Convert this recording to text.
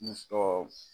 Ni tɔw